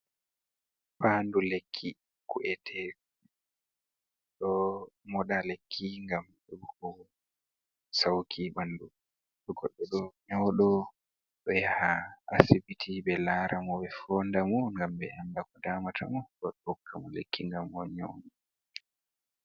Faandu lekki ku’ete ,ɗo moɗa lekki ngam hebugo sawki ɓanndu. To goɗɗo nyawɗo ɗo yaha asibiti, ɓe laara mo ɓe foonda mo, ngam ɓe annda ko damata mo. Bako ɓe hokka mo lekki ngam o nyawɗo.